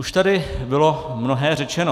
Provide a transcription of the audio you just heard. Už tady bylo mnohé řečeno.